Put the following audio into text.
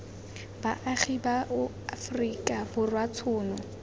baagi ba aforika borwa tshono